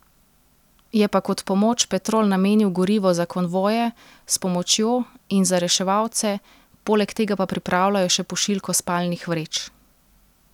Je pa kot pomoč Petrol namenil gorivo za konvoje s pomočjo in za reševalce, poleg tega pa pripravljajo še pošiljko spalnih vreč.